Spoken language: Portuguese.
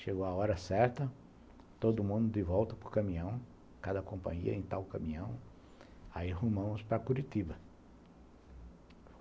Chegou a hora certa, todo mundo de volta para o caminhão, cada companhia em tal caminhão, aí arrumamos para Curitiba.